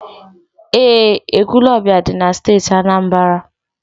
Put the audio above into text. Eé, Ekwulọọbịa dị na Steeti Anambra.